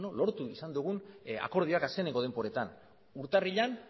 lortu izan dugun akordioak azkeneko denboretan urtarrilean